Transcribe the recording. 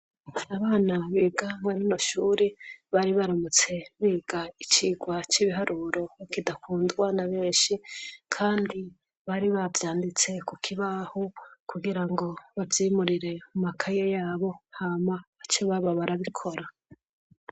Abana biga muri rino shure bari, baramutse biga icigwa c 'ibiharuro kidakundwa n'abenshi, kandi bari bavyanditse ku kibaho , kugira ngo bavyimurire mu makaye y'abo, hama, bace baba barabikora.